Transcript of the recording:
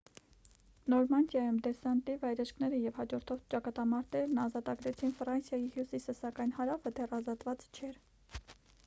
նորմանդիայում դեսանտի վայրէջքները և հաջորդող ճակատամարտերն ազատագրեցին ֆրանսիայի հյուսիսը սակայն հարավը դեռ ազատված չէր